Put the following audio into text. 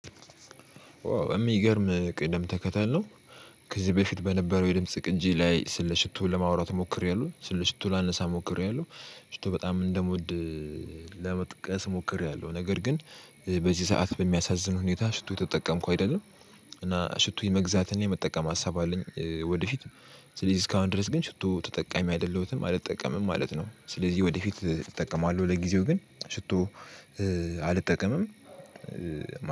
የሚገርም ቅድም ተከተል ነው። ከዚህ በፊት በነበረው የድምጽ ቅንጅ ላይ ስለ ሽቶ ለማውራት ሞክሬያለሁ ስለ ሽቶ ላነሳ ሞክሬያለሁ። ሽቶ በጣም እንደምወድ ለመጥቀስ ሞክሬያለሁ። ነገር ግን በዚህ ሰዓት በሚያሳዝን ሁኔታ ሽቶ ተጠቀምኩ አይደለም። እና ሽቶ የመግዛትና የመጠቀም ሀሳብ አለኝ ወደፊት። ስለዚህ እስካሁን ድረስ ግን ሽቶ ተጠቃሚ አይደለሁትም አልጠቀምም ማለት ነው። ስለዚህ ወደፊት እጠቀማለሁ ለጊዜው ግን ሽቶ አልጠቀምም።